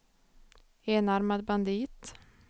enarmad bandit